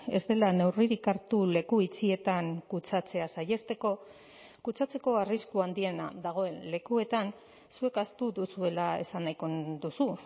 ez dela neurririk hartu leku itxietan kutsatzea saihesteko kutsatzeko arrisku handiena dagoen lekuetan zuek ahaztu duzuela esan nahiko duzu